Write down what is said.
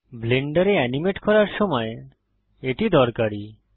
ব্লেন্ডারে এনিমেট করার সময় এটি দরকারী